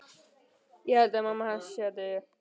Ég held að mamma hans sé að deyja.